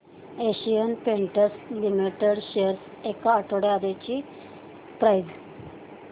Asian Paints Limited shares ची एक आठवड्या आधीची प्राइस